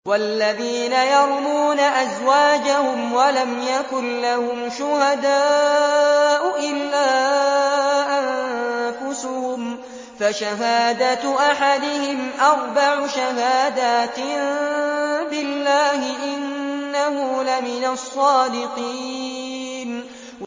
وَالَّذِينَ يَرْمُونَ أَزْوَاجَهُمْ وَلَمْ يَكُن لَّهُمْ شُهَدَاءُ إِلَّا أَنفُسُهُمْ فَشَهَادَةُ أَحَدِهِمْ أَرْبَعُ شَهَادَاتٍ بِاللَّهِ ۙ إِنَّهُ لَمِنَ الصَّادِقِينَ